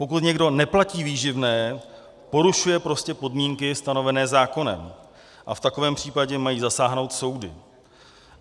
Pokud někdo neplatí výživné, porušuje prostě podmínky stanovené zákonem a v takovém případě mají zasáhnout soudy.